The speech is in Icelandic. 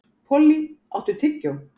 Polly, áttu tyggjó?